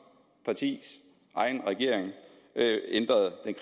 sige det